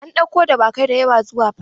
An ɗauko dawakai da yawa zuwa fada.